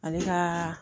Ale ka